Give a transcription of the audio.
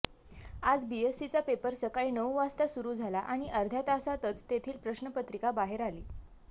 आज बीएससीचा पेपर सकाळी नऊ वाजता सुरू झाला आणि अर्ध्या तासातच तेथील प्रश्नपत्रिका बाहेर आली